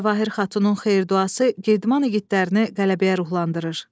Cawahir Xatunun xeyir duası Girdman igidlərini qələbəyə ruhlandırır.